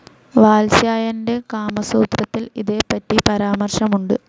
വാത്സ്യായനൻ്റെ കാമസൂത്രത്തിൽ ഇതേപ്പറ്റി പരാമർശമുണ്ട്.